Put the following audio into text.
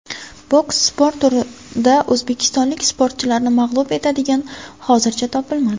Boks sport turida o‘zbekistonlik sportchilarni mag‘lub etadigani hozircha topilmadi.